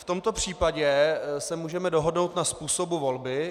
V tomto případě se můžeme dohodnout na způsobu volby.